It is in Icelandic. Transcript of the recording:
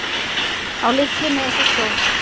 Á litlu nesi stóð